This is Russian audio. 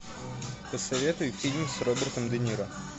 посоветуй фильм с робертом де ниро